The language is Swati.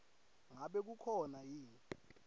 ngabe kukhona yini